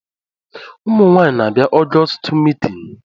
Ụmụ nwaanyị na-abia ọgọstụ meetini